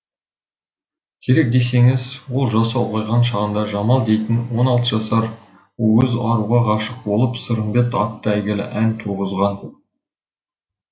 керек десеңіз ол жасы ұлғайған шағында жамал дейтін он алты жасар уыз аруға ғашық болып сырымбет атты әйгілі ән туғызған